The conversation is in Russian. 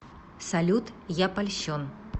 салют я польщен